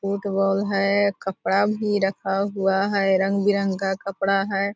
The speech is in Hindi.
फूटबाल है कपड़ा भी रखा हुआ है रंग-बिरंगा कपड़ा है ।